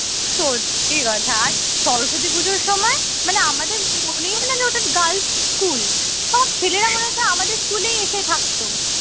সত্যি কথা আর সরস্বতী পূজোর সময় মানে আমাদের মনেই হয় না যে ওটা girls স্কুল সব ছেলেরা মনে হচ্ছে আমাদের স্কুলেই এসে থাকত